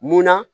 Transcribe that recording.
Munna